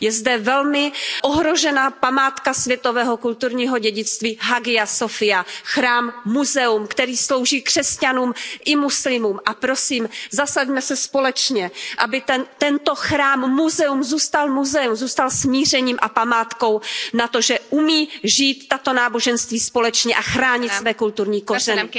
Je zde velmi ohrožena památka světového kulturního dědictví Hagia Sofia, chrám muzeum, který slouží křesťanům i muslimům, a prosím, zasaďme se společně, aby tento chrám muzeum zůstal muzeem, zůstal smířením a památkou na to, že umí žít tato náboženství společně a chránit své kulturní kořeny.